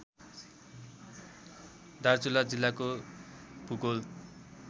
दार्चुला जिल्लाको भूगोल